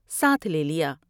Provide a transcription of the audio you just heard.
ساتھ لےلیا ۔